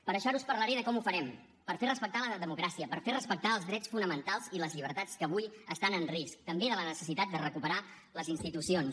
per això ara us parlaré de com ho farem per fer respectar la democràcia per fer respectar els drets fonamentals i les llibertats que avui estan en risc també de la necessitat de recuperar les institucions